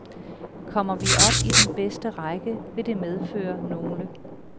Kommer vi op i den bedste række, vil det medføre nogle